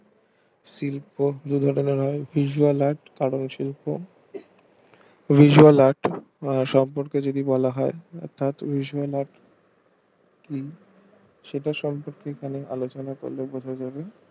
শিল্প হলো visual art কারণ শিল্প visual art সম্পর্কে যদি বলা হয় ষাটের সম্পর্কে আলোচনা করলে বোঝা যাবে